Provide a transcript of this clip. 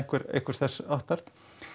einhvers þess háttar